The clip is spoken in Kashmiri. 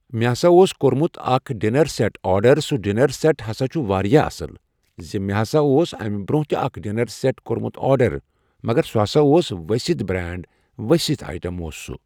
مےٚ ہسا اوس کوٚرمُت اکھ ڈِنر سٮ۪ٹ آڈرسُہ ڈِنرسٮ۪ٹ ہسا چھُ واریاہ اصٕل۔ زِ مےٚ ہسا اوس امہِ برونٛہہ تہِ اکھ ڈِنرسٮ۪ٹ کوٚرمُت آڈر مگر سُہ ہسا اوس ؤستھ برینٛڈ ،ؤسِتھ ایٹم اوس سُہ